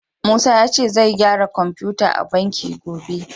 Musa ya ce zai gyara kofita a banki gobe.